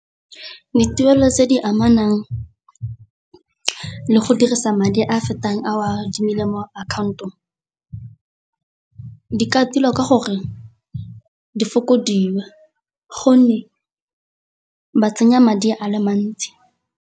Dituelo tse di amanang le go dirisa madi a a fetang a o a di melemo account-ong, di ka tilwa ka gore di fokodiwe gonne ba tsenya madi a le mantsi.